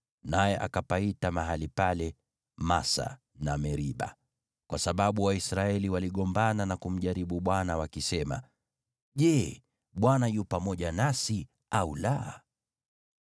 Naye akapaita mahali pale Masa, na Meriba kwa sababu Waisraeli waligombana na kumjaribu Bwana wakisema, “Je, Bwana yu pamoja nasi au la?”